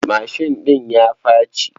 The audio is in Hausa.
Mashin ɗin ya faci.